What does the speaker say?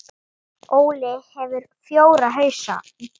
Hans var leitað í gær.